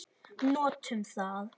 Notum það.